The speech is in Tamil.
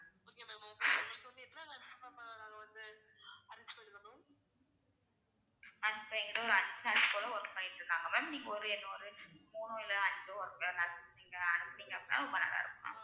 ma'am இப்ப என் கிட்ட ஒரு work பண்ணிட்டு இருக்காங்க ma'am நீங்க ஒரு இன்னும் ஒரு மூணோ இல்லோ அஞ்சோ work அனுப்புனீங்கனா அப்படின்னா பரவாயில்லை ma'am